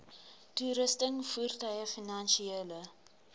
toerusting voertuie finansiële